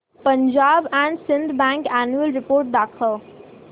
Punjab and Sind bank annual report दाखव